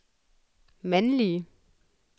mandlige